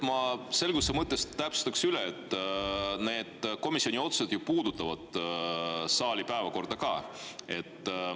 Ma selguse mõttes täpsustan, et need komisjoni otsused puudutavad ju saali päevakorda ka.